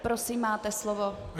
Prosím, máte slovo.